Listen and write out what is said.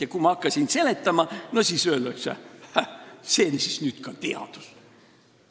Ja kui ma hakkan seletama, siis öeldakse: "Häh, see siis nüüd ka teadus!